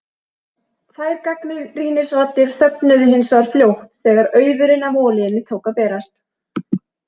Þær gagnrýnisraddir þögnuðu hins vegar fljótt þegar auðurinn af olíunni tók að berast.